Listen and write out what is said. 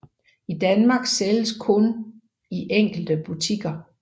I Danmark sælges de kun i enkelte butikker